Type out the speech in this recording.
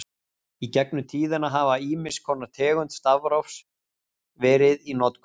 Í gegnum tíðina hafa ýmiss konar tegundir stafrófs verið í notkun.